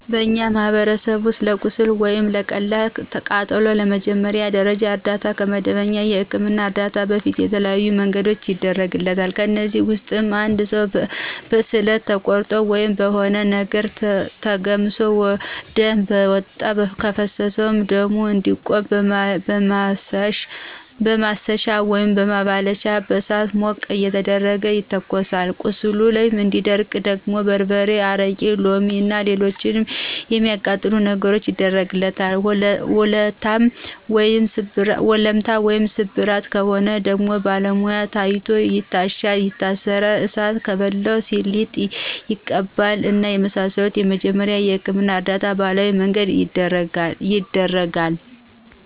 በእኛ ማህበረሰብ ውስጥ ለቁስል ወይም ለቀላል ቃጠሎ የመጀመሪያ ደረጃ እርዳታ ከመደበኛ የህክምና እርዳታ በፊት በተለያዬ መንገድ ይደረጋል። ከእነዚህም ውስጥ እንድ ሰው በስለት ተቆርጦ ወይም በሆነ ነገር ተገምሶ ደም በጣም ከፈሰሰው ደሙ እንዲቆም በማሰሻ ወይም በማባለቻ በእሳት ሞቅ እየተደረገ ይተኮሳል ቁስሉ እንዲደርቅ ደግሞ በርበሬ፣ አረቂ፣ ሎሚ እና ሎሎችንም የሚአቃጥሉ ነገሮችን ይደረግበታል፣ ወለምታ ወይም ስብራት ከሆነ ደግሞ በባለሙያ ታይቶ ይታሻል ይታሰራል፣ እሳት ከበላው ሊጥ ይቀባል እና የመሳሰሉትን የመጀመሪያ የህክምና እርዳታ በባህላዊ መንገድ ይደረጋል።